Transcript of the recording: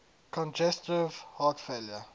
congestive heart failure